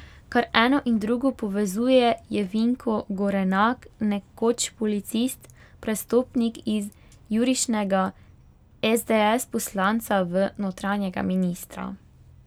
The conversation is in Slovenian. Kar eno in drugo povezuje je Vinko Gorenak, nekoč policist, prestopnik iz jurišnega esdees poslanca v notranjega ministra.